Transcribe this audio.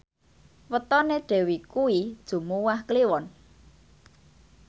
wetone Dewi kuwi Jumuwah Kliwon